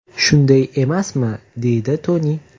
Shunday emasmi?”, deydi Toni.